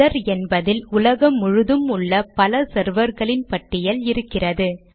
other என்பதில் உலகம் முழுதும் உள்ள பல செர்வர்களின் பட்டியல் இருக்கிறது